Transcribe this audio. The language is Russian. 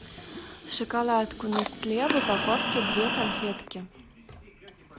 шоколадку нестле в упаковке две конфетки